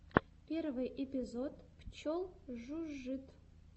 первый эпизод пчел жужжит